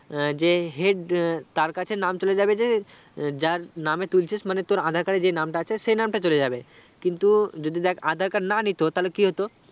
যে head তার কাছে নাম চলে যাবে যে যার নামে তুলছিস মানে তোর aadhar card এ যেই নাম তা আছে সেই নাম তা চলে যাবে কিন্তু যদি দেক aadhar card না নিত তাহলে কি হতো